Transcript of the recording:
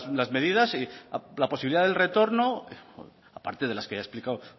las medidas y la posibilidad del retorno a parte de las que ya he explicado